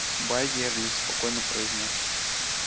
байерли спокойно произнёс